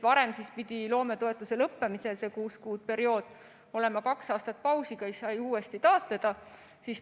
Varem pidi loometoetuse lõppemisel, kui oli see kuuekuuline periood, olema kaks aastat pausi ja siis sai uuesti taotleda.